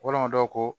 Waramudo ko